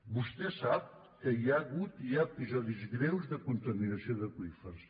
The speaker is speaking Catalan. vostè sap que hi ha hagut i hi ha episodis greus de contaminació d’aqüífers